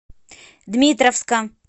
дмитровска